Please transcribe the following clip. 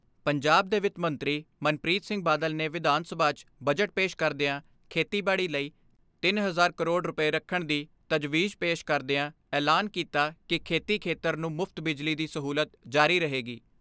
ਪੰਜਾਬ ਦੇ ਵਿੱਤ ਮੰਤਰੀ ਮਨਪ੍ਰੀਤ ਸਿੰਘ ਬਾਦਲ ਨੇ ਵਿਧਾਨ ਸਭਾ 'ਚ ਬਜਟ ਪੇਸ਼ ਕਰਦਿਆਂ ਖੇਤੀਬਾੜੀ ਲਈ ਤਿੰਨ ਹਜ਼ਾਰ ਕਰੋੜ ਰੁਪਏ ਰੱਖਣ ਦੀ ਤਜਵੀਜ਼ ਪੇਸ਼ ਕਰਦਿਆਂ ਐਲਾਨ ਕੀਤਾ ਕਿ ਖੇਤੀ ਖੇਤਰ ਨੂੰ ਮੁਫ਼ਤ ਬਿਜਲੀ ਦੀ ਸਹੂਲਤ ਜਾਰੀ ਰਹੇਗੀ।